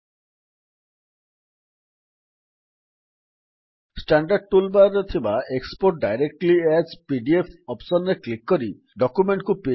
the document can also be exported to PDF format by simply clicking on the export directly as PDF option in the standard tool ବାର